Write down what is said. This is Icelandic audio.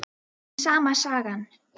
Sama sagan.